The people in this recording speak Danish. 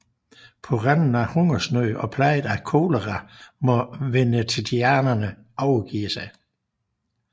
På randen af hungersnød og plaget af kolera må venetianerne overgive sig